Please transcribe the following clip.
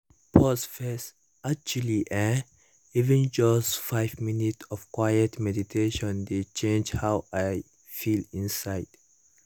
pause first — actually[um]even just five minutes of quiet meditation dey change how i feel inside